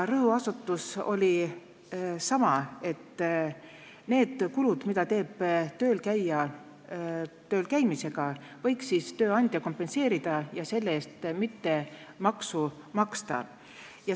Rõhuasetus oli sama: need kulud, mis tekivad töölkäijal tööle minemisel ja töölt tulemisel, võiks tööandja kompenseerida ja selle eest mitte maksu maksta.